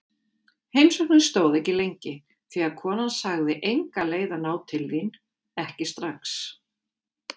Heimsóknin stóð ekki lengi því konan sagði enga leið að ná til þín, ekki strax.